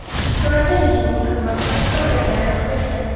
Suratda yigitning xizmat xonasida o‘tirgani aks etgan.